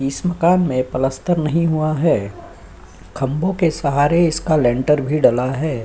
इस मकान में प्लास्टर नहीं हुआ है। खंबो के सहारे इसका लेंटर भी डाला है।